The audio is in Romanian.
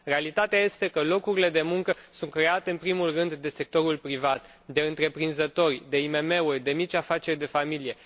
Realitatea este că locurile de muncă sunt create în primul rând de sectorul privat de întreprinzători, de IMM uri, de mici afaceri de familie.